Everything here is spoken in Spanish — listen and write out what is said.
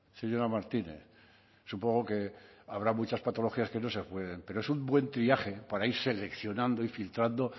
señora martínez supongo que habrá muchas patologías que no se pueden pero es un buen triaje para ir seleccionando y filtrando